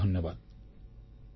ବହୁତ ବହୁତ ଧନ୍ୟବାଦ